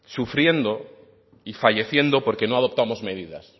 sufriendo y falleciendo porque no adoptamos medidas